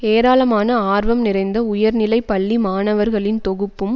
ஏராளமான ஆர்வம் நிறைந்த உயர்நிலை பள்ளி மாணவர்களின் தொகுப்பும்